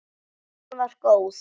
Messan var góð.